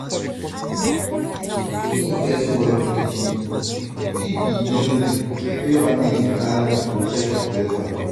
pikin first word fit be memory wey family go carry for chest forever.